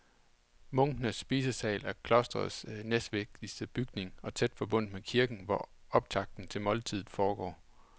Munkenes spisesal er klostrets næstvigtigste bygning og tæt forbundet med kirken, hvor optakten til måltidet foregår.